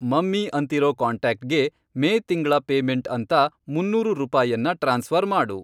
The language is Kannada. ಮಮ್ಮಿ ಅಂತಿರೋ ಕಾಂಟ್ಯಾಕ್ಟ್ಗೆ ಮೇ ತಿಂಗ್ಳ ಪೇಮೆಂಟ್ ಅಂತ ಮುನ್ನೂರು ರೂಪಾಯನ್ನ ಟ್ರಾನ್ಸ್ಫ಼ರ್ ಮಾಡು.